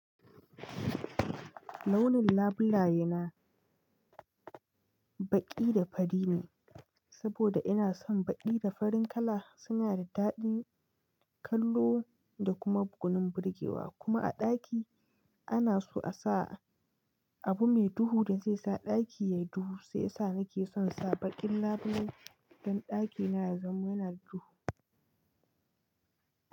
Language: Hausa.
Launin labulaye na baƙi da fari ne saboda ina son baƙi da farin kala suna da daɗin kallo da kuma gwanun burgewa kuma a ɗaki ana so a sa abu mai duhu da zai sa ɗaki yayi duhu sai ya sa nake son sa baƙin labulai don ɗakina ya zama yana duhu.